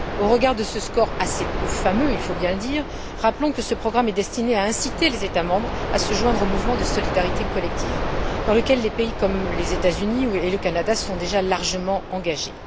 Au regard de ce score assez peu fameux, il faut bien le dire, rappelons que ce programme est destiné à inciter les États membres à se joindre au mouvement de solidarité collective dans lequel des pays comme les États Unis et le Canada sont déjà largement engagés.